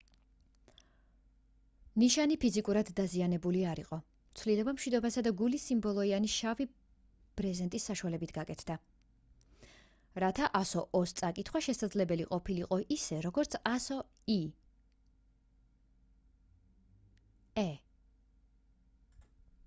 ნიშანი ფიზიკურად დაზიანებული არ იყო; ცვლილება მშვიდობისა და გულის სიმბოლოებიანი შავი ბრეზენტის საშუალებით გაკეთდა რათა ასო o -ს წაკითხვა შესაძლებელი ყოფილიყო ისე როგორც ასო e -ს